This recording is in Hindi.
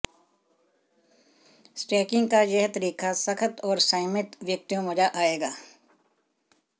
स्टैकिंग का यह तरीका सख्त और संयमित व्यक्तियों मज़ा आएगा